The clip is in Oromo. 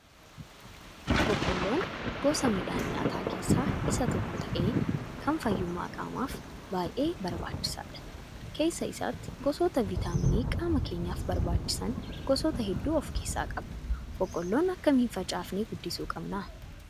Boqqoolloon gosa midhaan nyaataa keessaa isa tokko ta'ee kan fayyummaa qaamaaf baay'e barbaachisaadha. Keessa isaatti gosoota viitaaminii qaama keenyaaf barbaachisan gosoota hedduu of keessaa qaba. Boqqoolloo akkamiin facaafnee guddisuu qabna?